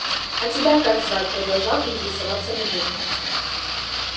а тебя как звать продолжал интересоваться мужик